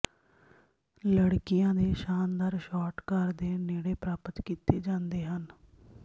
ਲੜਕੀਆਂ ਦੇ ਸ਼ਾਨਦਾਰ ਸ਼ਾਟ ਕਾਰ ਦੇ ਨੇੜੇ ਪ੍ਰਾਪਤ ਕੀਤੇ ਜਾਂਦੇ ਹਨ